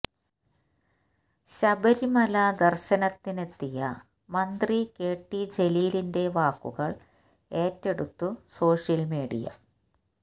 ശബരിമല ദർശനത്തിനെത്തിയ മന്ത്രി K T ജലീലിന്റെ വാക്കുകൾ ഏറ്റെടുത്തു സോഷ്യൽ മീഡിയ